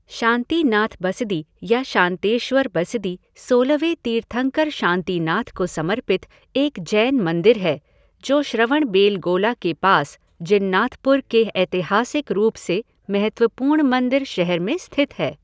शांतिनाथ बसदी या शांतेश्वर बसदी सोलहवें तीर्थंकर शांतिनाथ को समर्पित एक जैन मंदिर है जो श्रवणबेलगोला के पास जिन्नाथपुर के ऐतिहासिक रूप से महत्वपूर्ण मंदिर शहर में स्थित है।